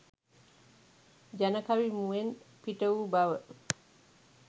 ජනකවි මුවෙන් පිටවූ බව